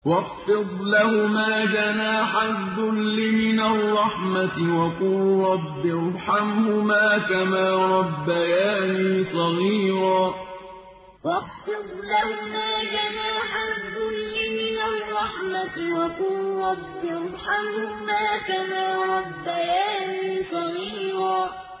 وَاخْفِضْ لَهُمَا جَنَاحَ الذُّلِّ مِنَ الرَّحْمَةِ وَقُل رَّبِّ ارْحَمْهُمَا كَمَا رَبَّيَانِي صَغِيرًا وَاخْفِضْ لَهُمَا جَنَاحَ الذُّلِّ مِنَ الرَّحْمَةِ وَقُل رَّبِّ ارْحَمْهُمَا كَمَا رَبَّيَانِي صَغِيرًا